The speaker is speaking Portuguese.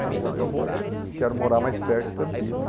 Falei, não, eu vou, eu quero morar mais perto de Campinas.